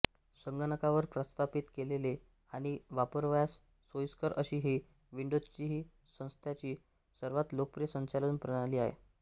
संगणकावर प्रस्थापित केलेली आणि वापरावयास सोईस्कर अशी ही विंडोजची सध्याची सर्वात लोकप्रिय संचालन प्रणाली आहे